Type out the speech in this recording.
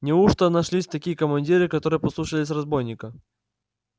неужто нашлись такие командиры которые послушались разбойника